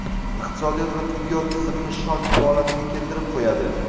iqtisodiyot va tibbiyot tizimini shok holatiga keltirib qo‘yadi.